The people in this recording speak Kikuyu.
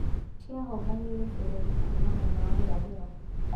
Ciahobanĩirie bũrũri kuuma mwena wa irathĩro